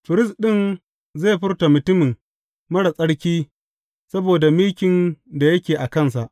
Firist ɗin zai furta mutumin marar tsarki saboda mikin da yake a kansa.